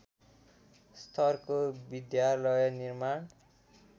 स्तरको विद्यालय निर्माण